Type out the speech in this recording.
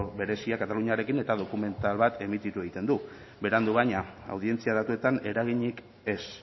berezia kataluniarekin eta dokumental bat emititzen du berandu baina audientzia datuetan eraginik ez